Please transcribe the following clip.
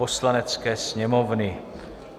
Poslanecké sněmovny